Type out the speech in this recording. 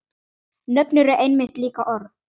Nöfn eru einmitt líka orð.